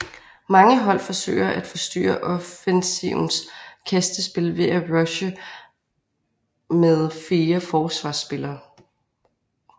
Mange hold forsøger at forstyrre offensivens kastespil ved at rushe med fire forsvarsspillere